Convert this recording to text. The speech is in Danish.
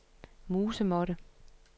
musemåtte